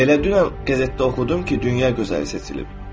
Elə dünən qəzetdə oxudum ki, dünya gözəli seçilib.